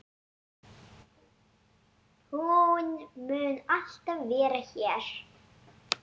Hún mun alltaf vera hér.